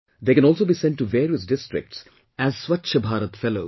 They can also be sent to various districts as Swachchha Bharat Fellows